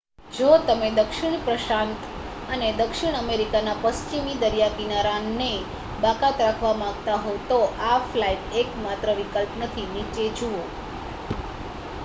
જો તમે દક્ષિણ પ્રશાંત અને દક્ષિણ અમેરિકાના પશ્ચિમી દરિયાકિનારાને બાકાત રાખવા માગતા હો તો આ ફ્લાઇટ એકમાત્ર વિકલ્પ નથી. નીચે જુઓ